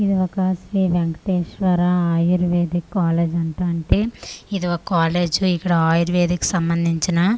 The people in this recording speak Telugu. ఇది ఒక శ్రీ వేంకటేశ్వర ఆయుర్వేదిక్ కాలేజ్ అంట అంటే ఇది ఓ కాలేజ్ ఇక్కడ ఆయుర్వేదిక్ సంబందించిన ఆ--